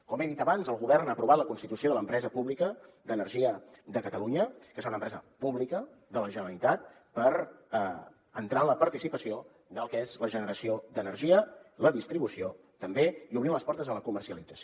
com he dit abans el govern ha aprovat la constitució de l’empresa pública d’energia de catalunya que serà una empresa pública de la generalitat per entrar en la participació del que és la generació d’energia la distribució també i obrir les portes a la comercialització